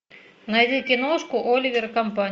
найди киношку оливер и компания